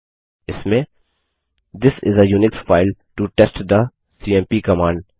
इसमें this is a Unix file to test the CMP command